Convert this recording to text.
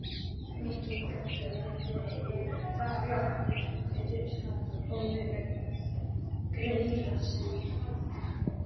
Mikið gat ég verið þakklátur fyrir þá óviljandi greiðasemi.